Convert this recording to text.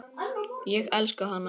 Ég elska hana.